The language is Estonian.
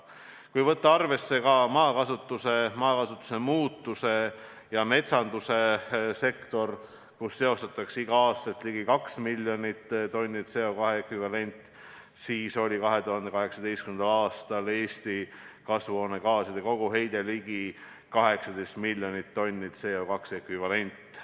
Kui võtta arvesse ka maakasutuse, maakasutuse muutuse ja metsanduse sektor, kus seotakse igal aastal ligi 2 miljonit tonni CO2 ekvivalenti, siis oli 2018. aastal Eesti kasvuhoonegaaside koguheide ligi 18 miljonit tonni CO2 ekvivalenti.